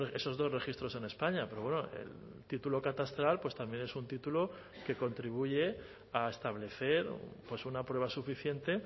esos dos registros en españa pero bueno el título catastral pues también es un título que contribuye a establecer una prueba suficiente